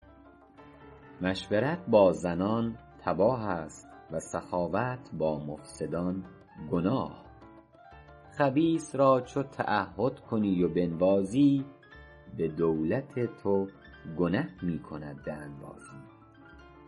مشورت با زنان تباه است و سخاوت با مفسدان گناه خبیث را چو تعهد کنی و بنوازی به دولت تو گنه می کند به انبازی ترحم بر پلنگ تیز دندان ستمکاری بود بر گوسپندان